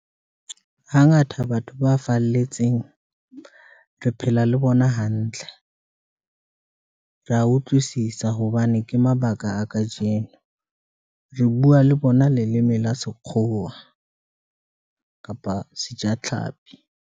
Hangata batho ba falletseng, re phela le bona hantle, ra utlwisisa hobane ke mabaka a kajeno re bua le bona. Leleme la sekgowa kapa sejatlhapi.